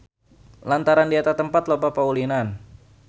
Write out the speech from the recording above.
Lantaran di eta tempat loba paulinan.